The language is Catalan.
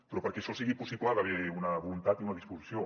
però perquè això sigui possible hi ha d’haver una voluntat i una disposició